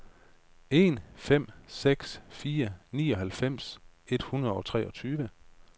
en fem seks fire nioghalvfems et hundrede og treogtyve